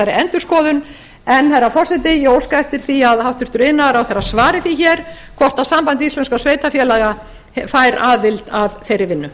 endurskoðun en herra forseti ég óska eftir því að hæstvirtur iðnaðarráðherra svari því hér hvort samband íslenskra sveitarfélaga fær aðild að þeirri vinnu